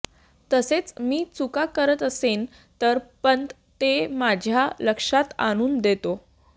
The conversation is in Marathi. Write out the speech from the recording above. तसेच मी चुका करत असेन तर पंत ते माझ्यात लक्षात आणून देतो